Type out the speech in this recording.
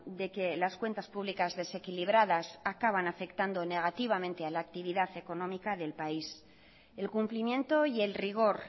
de que las cuentas públicas desequilibradas acaban afectando negativamente a la actividad económica del país el cumplimiento y el rigor